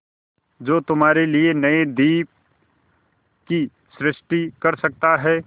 जो तुम्हारे लिए नए द्वीप की सृष्टि कर सकता है